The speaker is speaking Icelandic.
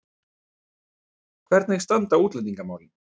Hvernig standa útlendingamálin?